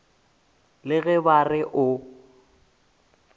le ge ba re o